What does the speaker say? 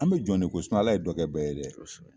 An me jɔn de koyi Ala ye dɔ kɛ bɛɛ ye dɛ, kosɛbɛ.